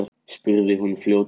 spurði hún fljótmælt.